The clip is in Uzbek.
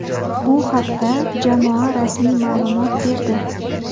Bu haqda jamoa rasmiy ma’lumot berdi.